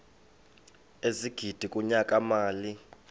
ezigidi kunyaka mali